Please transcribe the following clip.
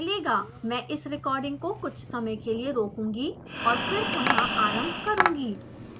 मैं इस रेकॉर्डिंग को कुछ समय के लिए रोकूंगी और फिर पुनः आरम्भ करुँगी